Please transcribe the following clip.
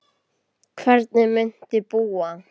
Hvernig muntu búa?